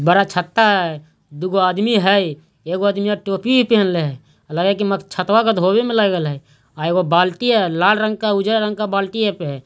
बड़ा छता है दोगो आदमी हई एगो आदमी टोपी पेहेनले हई लगए के म छतवा के धोवो में लगल हई आ एगो बाल्टी हई लाल रंग के उजर रंग के बाल्टी है पे है।